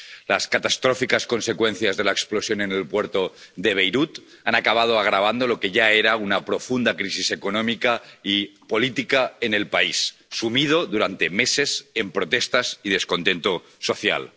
Las catastróficas consecuencias de la explosión en el puerto de Beirut han acabado agravando lo que ya era una profunda crisis económica y política en el país, sumido durante meses en protestas y descontento social.